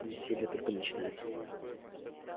веселье только начинается